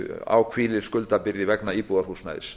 á hvílir skuldabyrði vegna íbúðarhúsnæðis